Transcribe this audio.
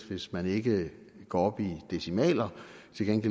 hvis man ikke går op i decimaler